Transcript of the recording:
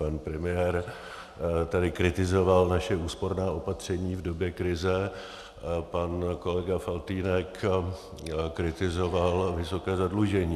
Pan premiér tady kritizoval naše úsporná opatření v době krize, pan kolega Faltýnek kritizoval vysoké zadlužení.